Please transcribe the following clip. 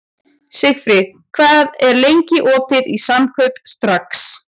Sigfríð, hvað er lengi opið í Samkaup Strax?